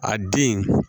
A den